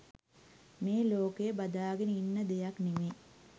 මේ ලෝකය බදාගෙන ඉන්න දෙයක් නෙවෙයි.